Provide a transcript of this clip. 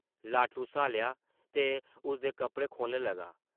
लाटू स्हालेआ ते उसदे कपड़े खोह्लन लगा ।